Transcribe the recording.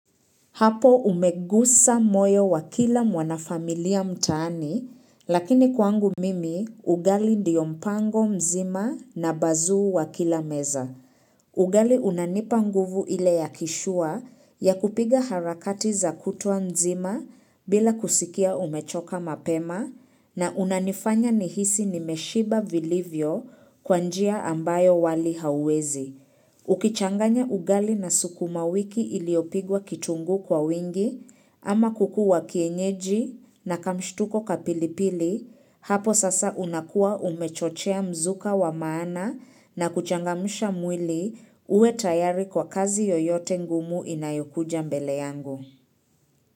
Hapo umegusa moyo wa kila mwana familia mtaani, lakini kwangu mimi, ugali ndiyo mpango mzima na bazuu wa kila meza. Ugali unanipa nguvu ile yakishua ya kupiga harakati za kutwa mzima bila kusikia umechoka mapema na unanifanya nihisi nimeshiba vilivyo kwa njia ambayo wali hauwezi. Ukichanganya ugali na sukuma wiki iliopigwa kitunguu kwa wingi, ama kuku wa kienyeji na kamshtuko kapilipili, hapo sasa unakua umechochea mzuka wa maana na kuchangamsha mwili uwe tayari kwa kazi yoyote ngumu inayokuja mbele yangu.